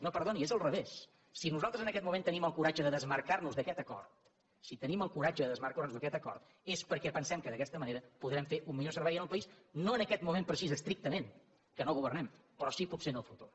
no perdoni és al revés si nosaltres en aquest moment tenim el coratge de desmarcarnos d’aquest acord si tenim el coratge de desmarcar nos d’aquest acord és perquè pensem que d’aquesta manera podrem fer un millor servei al país no en aquest moment precís estrictament que no governem però sí potser que en el futur